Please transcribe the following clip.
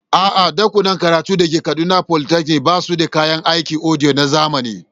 A'a, ɗakunan karatun da ke Kaduna Polytechnic ba su da kayan aikin audio na zamani.